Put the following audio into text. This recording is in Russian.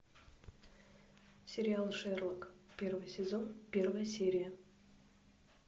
сериал шерлок первый сезон первая серия